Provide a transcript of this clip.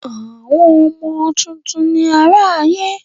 Àwọn ọmọ tuntun ni àrà ayé.